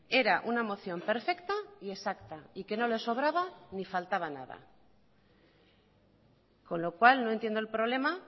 era una moción perfecta y exacta y que no le sobraba ni faltaba nada con lo cual no entiendo el problema